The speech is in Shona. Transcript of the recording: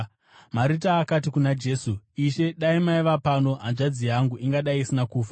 Marita akati kuna Jesu, “Ishe, dai maiva pano, hanzvadzi yangu ingadai isina kufa.